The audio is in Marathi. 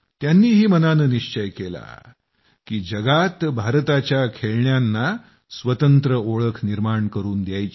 त्यांनीही मनानं निश्चय केला की दुनियेमध्ये भारताच्या खेळण्यांना स्वतंत्र ओळख निर्माण करून द्यायची